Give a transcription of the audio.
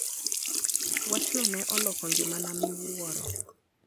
Wachno ne oloko ngimana miwuoro.